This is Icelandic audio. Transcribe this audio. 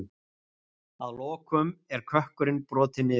Að lokum er kökkurinn brotinn niður.